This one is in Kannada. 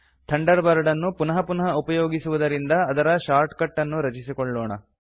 ಥಂಡರ್ ಬರ್ಡ್ ಅನ್ನು ಪುನಃ ಪುನಃ ಉಪಯೋಗಿಸುವುದರಿಂದ ಅದರ ಶಾರ್ಟ್ ಕಟ್ ಅನ್ನು ರಚಿಸಿಕೊಳ್ಳೋಣ